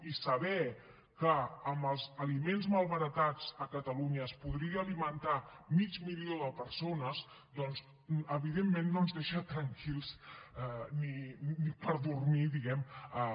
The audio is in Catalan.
i saber que amb els aliments malbaratats a catalunya es podrien alimentar mig milió de persones doncs evidentment no ens deixa tranquils ni per dormir diguemne